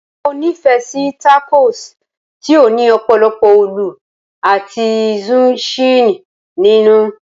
mo ni fe si takos ti o ni opolopo olu ati zucchini ninu